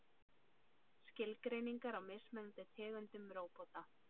Skilgreiningar á mismunandi tegundum róbóta.